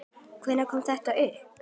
Hvenær kom þetta upp?